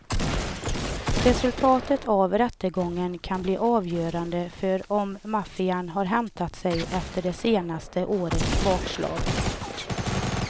Resultatet av rättegången kan bli avgörande för om maffian har hämtat sig efter det senaste årets bakslag.